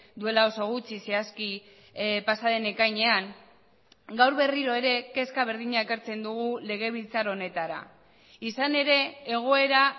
duela oso gutxi zehazki pasa den ekainean gaur berriro ere kezka berdina ekartzen dugu legebiltzar honetara izan ere egoera